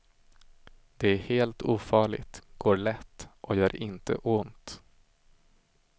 Det är helt ofarligt, går lätt och gör inte ont.